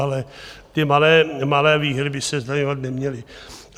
Ale ty malé výhry by se zdaňovat neměly.